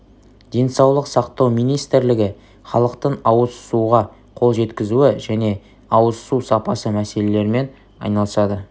денсаулық сақтау министрлігі халықтың ауыз суға кол жеткізуі және ауыз су сапасы мселелерімен айналысады